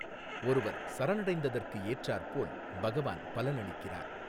ஒருவர் சரணடைந்ததிற்கு எற்றாற் போல் பகவான் பலனளிக்கிறார்.